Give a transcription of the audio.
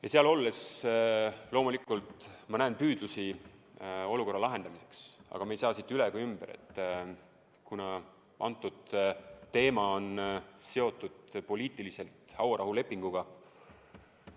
Ja seal olles loomulikult ma näen püüdlusi olukorra lahendamiseks, aga me ei saa sellest üle ega ümber, et antud teema on seotud poliitiliselt hauarahulepinguga.